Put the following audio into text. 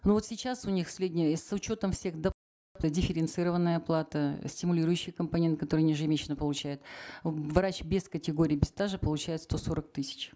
ну вот сейчас у них средняя с учетом всех дифференцированная оплата стимулирующий компонент который они ежемесячно получают врач без категории без стажа получает сто сорок тысяч